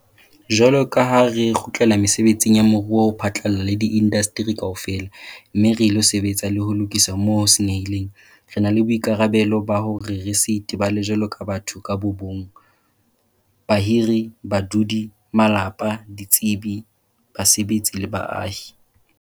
Jwalo ka ha re kgutlela mesebetsing ya moruo ho phatlalla le diindasteri kaofela, mme re ilo sebetsa le ho lokisa moo ho senyehileng, re na le boikarabelo ba hore re se itebale jwaloka batho ka bo mong, bahiri, badudi, malapa, ditsebi, basebetsi le baahi.